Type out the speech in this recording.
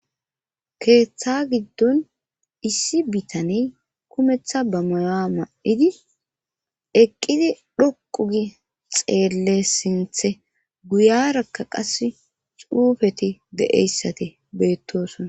Keeththa giddon issi bitani kumeththa bamaya ma7idi eqqidi dhoqu gi xeelle sinthe guyarakka qas xuufeti de7eyssati beettosona